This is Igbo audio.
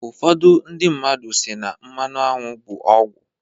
Ufọdụ ndị mmadu si na mmanụ aṅwụ bụ ọgwụ"